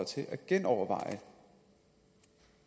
til at genoverveje